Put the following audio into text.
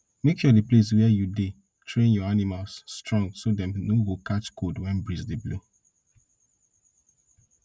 make sure the place where you dey train your animals strong so dem no go catch cold when breeze dey blow